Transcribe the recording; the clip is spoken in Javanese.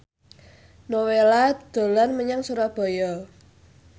Nowela dolan menyang Surabaya